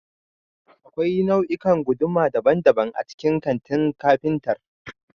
Akwai nau'ikan guduma daban-daban a cikin kantin kafintar